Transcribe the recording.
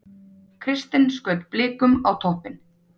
Kristinn skaut Blikum á toppinn